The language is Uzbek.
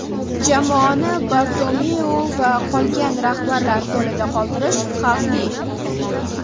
Jamoani Bartomeu va qolgan rahbarlar qo‘lida qoldirish xavfli.